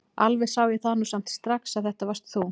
Alveg sá ég það nú samt strax að þetta varst þú!